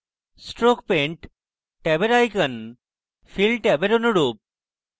stroke paint ট্যাবে icons fill ট্যাবের অনুরূপ